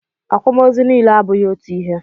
Akwamozu niile abụghị otu ihe.